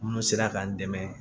Minnu sera k'an dɛmɛ